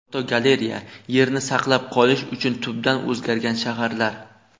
Fotogalereya: Yerni saqlab qolish uchun tubdan o‘zgargan shaharlar.